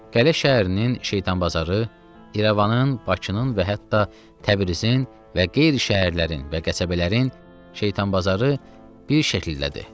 Qələ şəhərinin Şeytanbazarı İrəvanın, Bakının və hətta Təbrizin və qeyri şəhərlərin və qəsəbələrin Şeytanbazarı bir şəkildədir.